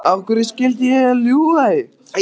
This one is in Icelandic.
Af hverju skyldi ég ljúga því?